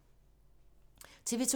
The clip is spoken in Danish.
TV 2